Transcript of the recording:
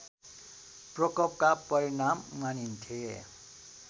प्रकोपका परिणाम मानिन्थे